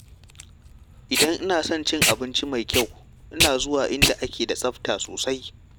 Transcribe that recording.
Idan ina son cin abinci mai kyau, ina zuwa inda ake da tsafta sosai.